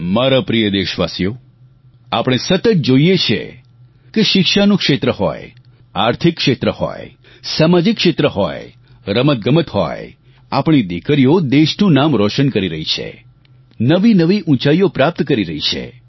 મારા પ્રિય દેશવાસીઓ આપણે સતત જોઈએ છીએ કે શિક્ષાનું ક્ષેત્ર હોય આર્થિક ક્ષેત્ર હોય સામાજિક ક્ષેત્ર હોય રમતગમત હોય આપણી દિકરીઓ દેશનું નામ રોશન કરી રહી છે નવીનવી ઉંચાઈઓ પ્રાપ્ત કરી રહી છે